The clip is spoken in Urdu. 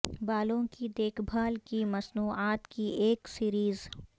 بالوں کی دیکھ بھال کی مصنوعات کی ایک سیریز